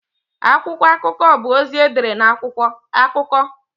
Akwụkwọ akụkọ bụ ozi edere na akwụkwọ (akụkọ).